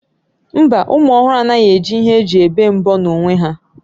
Mba, ụmụ ọhụrụ anaghị eji ihe eji ebe mbọ n'onwe ha